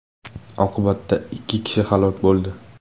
Oqibatda ikki kishi halok bo‘ldi.